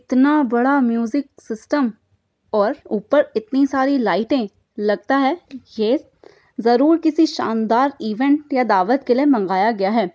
इतना बड़ा music system और ऊपर इतनी सारी लाईटे लगता हैं यह जरुर किसी शानदार इवेंट या दावत के लिए मगाया गया हैं|